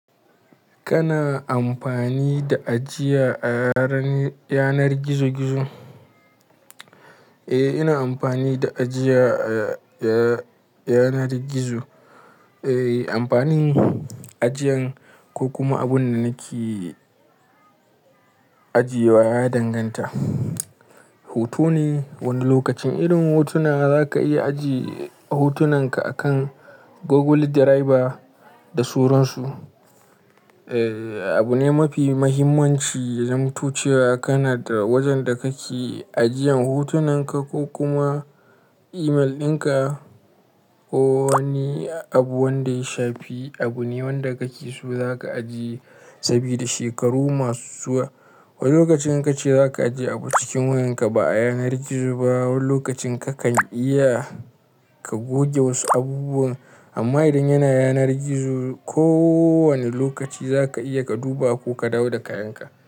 Kana amfani da ajiya a yanar gizo-gizo? Eh, ina amfani da ajiya a yanar gizo. Amfanin ajiyan ko kuma abun da nake ajiye wa ya danganta. Hoto ne, wani lokacin irin hotuna za ka iya ajiye hotunanka akan Google Driver da suransu. Abu ne mafi muhimmanci, ya zama cewa kana da wajen da kake ajiyan hotunanka ko kuma imel ɗinka, ko wani abu wanda ya shafi abu ne wanda kake so za ka ajiye saboda shekaru masu zuwa. Wani lokacin in kace za ka ajiye abu cikin wayarka ba a yanar gizo ba, wani lokacin kakan iya ka goge wasu abubuwan. Amma idan yana yanar gizo, kowane lokaci za ka iya ka duba ko ka dawo da kayanka.